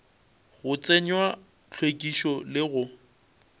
go tsenywa hlwekišo le go